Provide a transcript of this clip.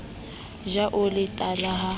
ja o le tala ha